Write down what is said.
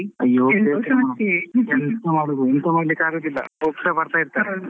ಎಂತ ಮಾಡುದು ಎಂತ ಮಾಡ್ಲಿಕ್ಕೂ ಆಗುದಿಲ್ಲ ಹೋಗ್ತಾ ಬರ್ತಾ ಇರ್ತರಲ್ಲ.